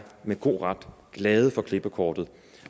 med god ret glade for klippekortet